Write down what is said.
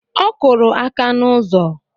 Ọ kụrụ aka n'ụzọ